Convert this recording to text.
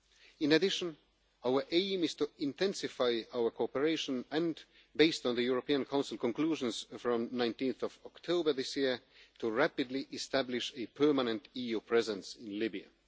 In addition, our aim is to intensify our cooperation and, based on the European Council conclusions from 19 October this year, to rapidly establish a permanent EU presence in Libya.